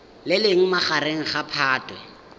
le leng magareng ga phatwe